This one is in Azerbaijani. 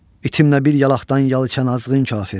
İtimlə bir yalaqdan yal içən azğının kafir.